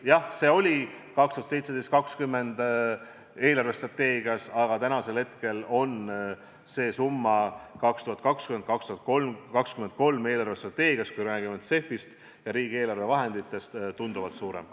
Jah, see oli aastate 2017–2020 eelarvestrateegias, aga tänasel päeval on see summa aastate 2020–2023 eelarvestrateegias – kui me räägime CEF-ist ja riigieelarve vahenditest – tunduvalt suurem.